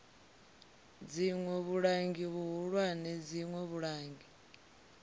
dziṋwe vhulangi vhuhulwane dziṋwe vhulangi